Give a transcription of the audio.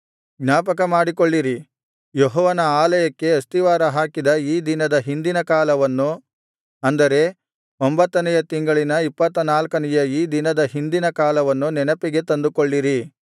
ಜ್ಞಾಪಕಮಾಡಿಕೊಳ್ಳಿರಿ ಯೆಹೋವನ ಆಲಯಕ್ಕೆ ಅಸ್ತಿವಾರ ಹಾಕಿದ ಈ ದಿನದ ಹಿಂದಿನ ಕಾಲವನ್ನು ಅಂದರೆ ಒಂಭತ್ತನೆಯ ತಿಂಗಳಿನ ಇಪ್ಪತ್ತನಾಲ್ಕನೆಯ ಈ ದಿನದ ಹಿಂದಿನ ಕಾಲವನ್ನು ನೆನಪಿಗೆ ತಂದುಕೊಳ್ಳಿರಿ